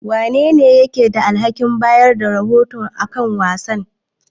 Wanene ke da alhakin bayar da rahoto kan wasanni?